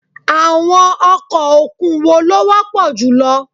Àwọn ọkọ̀ òkun wo ló wọ́pọ̀ jù lọ?